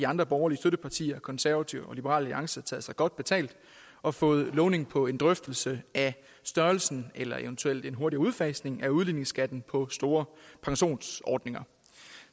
andre borgerlige støttepartier konservative og liberal alliance taget sig godt betalt og fået lovning på en drøftelse af størrelsen eller eventuelt en hurtig udfasning af udligningsskatten på store pensionsordninger